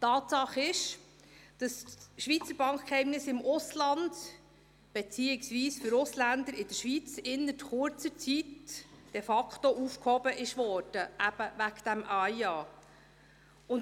Tatsache ist, dass das Schweizer Bankgeheimnis im Ausland, beziehungsweise für Ausländer in der Schweiz, innert kurzer Zeit wegen des genannten AIA de facto aufgehoben wurde.